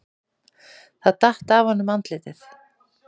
Það datt af honum andlitið.